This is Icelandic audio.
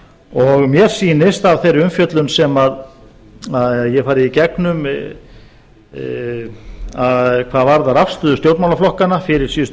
og mér sýnist af þeirri umfjöllun sem ég hef farið í gegnum hvað varðar afstöðu stjórnmálaflokkanna fyrir síðustu